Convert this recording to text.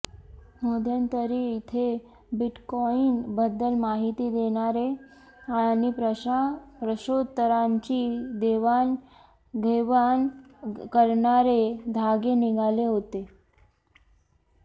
मध्यंतरी इथे बिटकॉइन बद्दल माहिती देणारे आणि प्रश्नोत्तरांची देवाणघेवाण करणारे धागे निघाले होते